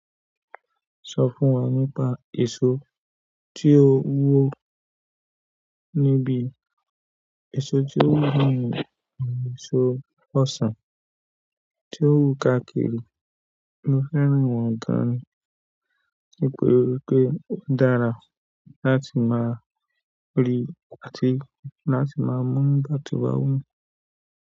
Sọ fún wa nípa èso tí ó wú ni, níbi èso tí ó wú nìyẹn ni èso ọsàn tí ó wú káàkiri. Mo fẹ́ran wọn gan an ni pé ó dára láti máa rí àti láti máa mú nigbá to bá wumi.